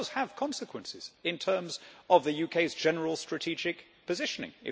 But it does have consequences in terms of the UK's general strategic positioning.